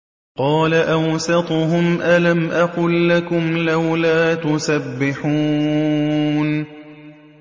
قَالَ أَوْسَطُهُمْ أَلَمْ أَقُل لَّكُمْ لَوْلَا تُسَبِّحُونَ